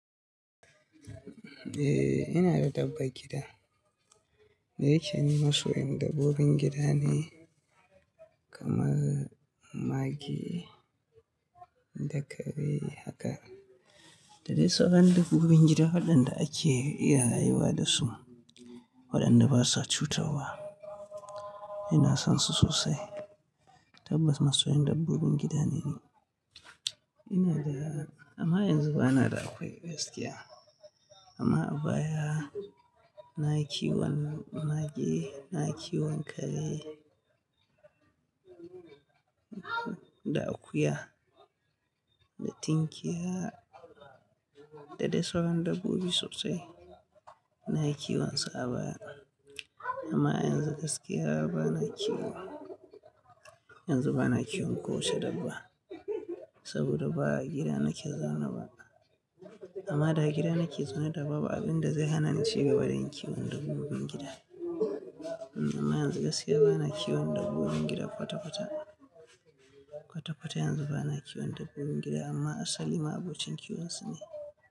Eh, ina da dabbar gida. Daya keni masoyin dabbobin gida ne kamar mage da kare haka. Da dai sauran dabbobin gida waɗanda ake iya haihuwa da su, waɗanda basa cutarwa. Ina son su sosai. Tabbas masoyin dabbobin gida ne ni. Ina da, amma yanzu ba na da akwai gaskiya. Amma a baya nayi kiwon mage, nayi kiwon kare da akuya da tinkiya da dai sauran dabbobi sosai. Na kiwon su a baya. Amma yanzu gaskiya ba na kiwo, yanzu ba na kiwon kowace dabba saboda ba a gida nake zaune ba. Amma da a gida nake zaune da ba abin da zai hana ni cigaban yin kiwon dabbobin gida. Amma yanzu gaskiya ba na kiwon dabbobin gida kwata-kwata, kwata-kwata yanzu ba na kiwon dabbobin gida amma asali ma'abocin kiwonsu ne.